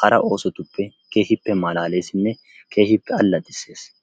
hara oosotuppe keehippe malaalessine keehippe allaxxissees.